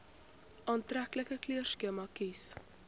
aantreklike kleurskema kies